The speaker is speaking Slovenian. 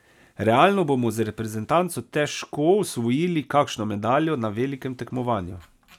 Realno bomo z reprezentanco težko osvojili kakšno medaljo na velikem tekmovanju.